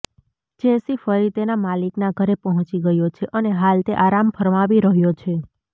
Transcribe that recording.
જેસી ફરી તેના માલિકના ઘેર પહોંચી ગયો છે અને હાલ તે આરામ ફરમાવી રહ્યો છે